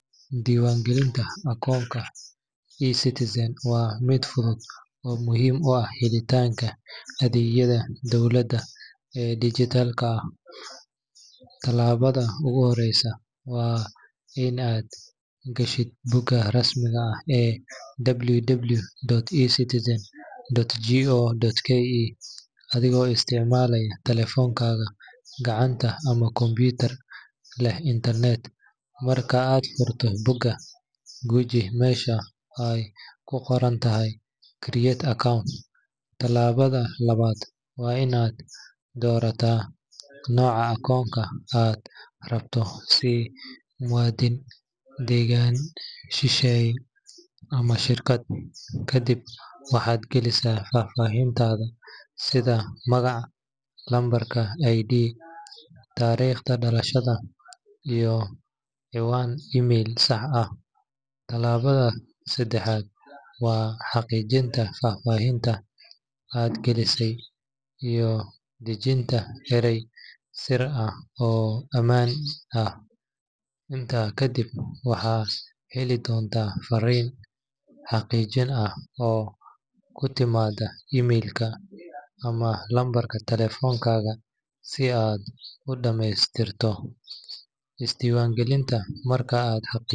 Diiwaangelinta akoonka eCitizen waa mid fudud oo muhiim u ah helitaanka adeegyada dowladda ee dijitaalka ah. Tallaabada ugu horreysa waa in aad gashid bogga rasmiga ah ee www.ecitizen.go.ke adigoo isticmaalaya taleefankaaga gacanta ama kombiyuutar leh internet. Marka aad furto bogga, guji meesha ay ku qoran tahay "Create Account". Tallaabada labaad waa in aad doorataa nooca akoonka aad rabto sida muwaadin, degane shisheeye, ama shirkad. Ka dib waxaad galinaysaa faahfaahintaada sida magac, lambarka ID, taariikhda dhalashada, iyo ciwaan email sax ah. Tallaabada saddexaad waa xaqiijinta faahfaahinta aad gelisay iyo dejinta eray sir ah oo aamin ah. Intaa kadib waxaad heli doontaa farriin xaqiijin ah oo ku timaadda email-ka ama lambarka taleefankaaga si aad u dhamaystirto isdiiwaangelinta. Marka aad xaqiijiso.